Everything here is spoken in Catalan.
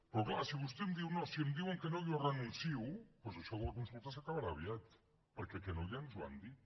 però és clar si vostè em diu no si em diuen que no jo hi renuncio doncs això de la consulta s’acabarà aviat perquè que no ja ens ho han dit